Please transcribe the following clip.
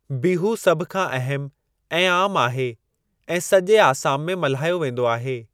बिहू सभ खां अहमु ऐं आमु आहे ऐं सॼे आसाम में मल्हायो वेंदो आहे।